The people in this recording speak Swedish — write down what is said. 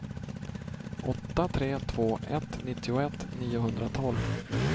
åtta tre två ett nittioett niohundratolv